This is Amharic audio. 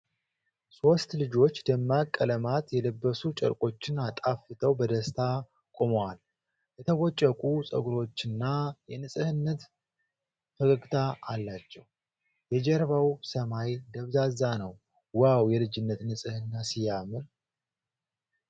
ሶስት ልጆች ደማቅ ቀለማት የለበሱ ጨርቆችን አጣፍተው በደስታ ቆመዋል። የተቦጨቁ ፀጉሮችና የንፁህነት ፈገግታ አላቸው። የጀርባው ሰማይ ደብዛዛ ነው። ዋው! የልጅነት ንፅህና ሲያምር!